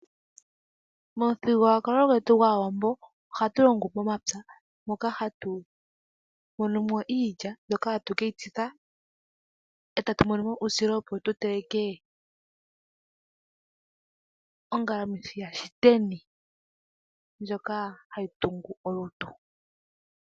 Momudhigulukwalo gwetu gwAawambo ohatulongo momapya moka hatumo nomo iilya, etatu keyitsika, etatu monomo uusila opo tuteleke ongalamwithi yashiteni ndjoka hayitungu olutu.